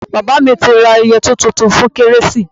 Bàbá mi ti ra yẹtí tuntun fún kérésì.